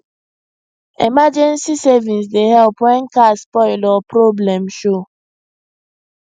emergency savings dey help when car spoil or problem show